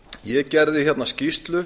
ég gerði skýrslu